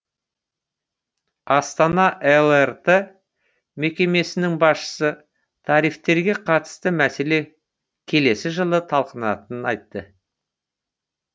астана лрт мекемесінің басшысы тарифтерге қатысты мәселе келесі жылы талқыланатынын айтты